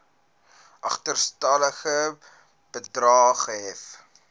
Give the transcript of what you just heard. agterstallige bedrae gehef